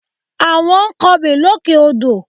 Àwọn ń kọbè lókè odò